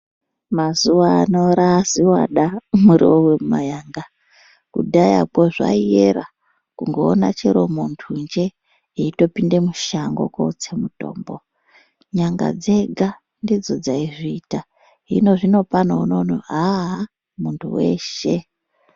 Mazuva ano zvava zviwada muriwo wema yanga kudhaya ko zvaiera kungoona chero muntu jee eyitopinde mushango kunotsa mutombo nyanga dzega dzidzo dzaizviita hino zvino pano unoona haha muntu weshe.